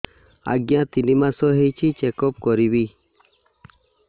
ଆଜ୍ଞା ତିନି ମାସ ହେଇଛି ଚେକ ଅପ କରିବି